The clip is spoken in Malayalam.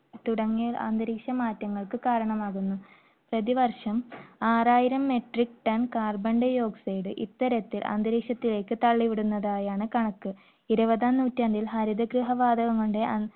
തുടങ്ങിയ അന്തരീക്ഷ മാറ്റങ്ങൾക്ക് കാരണമാകുന്നു. പ്രതിവർഷം ആറായിരം metric ton carbon dioxide ഇത്തരത്തിൽ അന്തരീക്ഷത്തിലേക്ക് തള്ളി വിടുന്നതായാണ് കണക്ക്. ഇരുപതാം നൂറ്റാണ്ടിൽ ഹരിതഗൃഹ വാതകം കൊണ്ട്